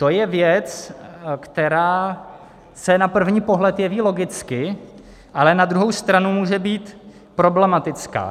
- To je věc, která se na první pohled jeví logicky, ale na druhou stranu může být problematická.